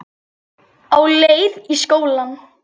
Á leið í skóla.